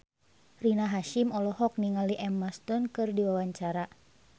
Rina Hasyim olohok ningali Emma Stone keur diwawancara